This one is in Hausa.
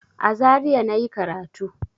A Zaria na yi karatu.